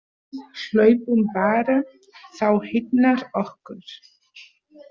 Við hlaupum bara, þá hitnar okkur.